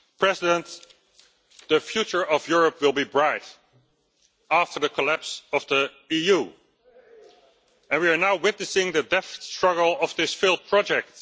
Mr President, the future of Europe will be bright after the collapse of the EU, and we are now witnessing the death struggle of this failed project.